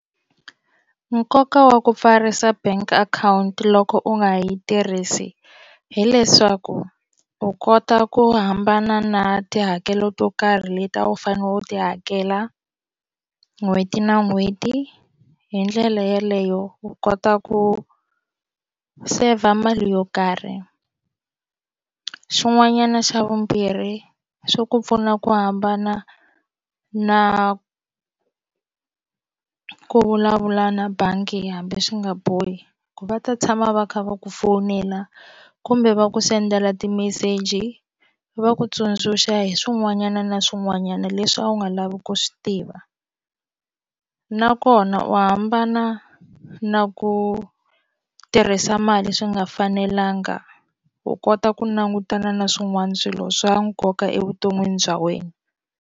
Nkoka wa ku pfarisa bank akhawunti loko u nga yi tirhisi hileswaku u kota ku hambana na tihakelo to karhi leti a u fanele u ti hakela n'hweti na n'hweti hi ndlela yeleyo u kota ku saver mali yo karhi xin'wanyana xa vumbirhi swi ku pfuna ku hambana na ku vulavula na bangi hambi swi nga bohi ku va ta tshama va kha va ku fowunela kumbe va ku sendela timeseji va ku tsundzuxa hi swin'wanyana na swin'wanyana leswi a wu nga lavi ku swi tiva nakona u hambana na ku tirhisa mali swi nga fanelanga u kota ku langutana na swin'wana swilo swa nkoka evuton'wini bya wena.